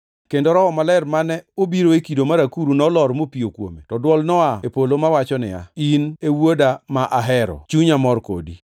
kendo Roho Maler mane obiro e kido mar akuru nolor mopiyo kuome, to dwol noa e polo mawacho niya, “In e Wuoda, ma ahero; chunya mor kodi.”